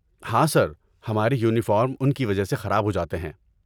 ہاں سر، ہمارے یونیفارم ان کی وجہ سے خراب ہو جاتے ہیں۔